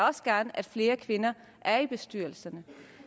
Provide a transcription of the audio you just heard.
også gerne at flere kvinder var i bestyrelser